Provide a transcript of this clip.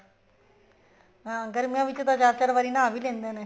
ਹਾਂ ਗਰਮੀਆਂ ਵਿੱਚ ਤਾਂ ਚਾਰ ਚਾਰ ਵਾਰੀ ਨਹਾ ਵੀ ਲੈਂਦੇ ਨੇ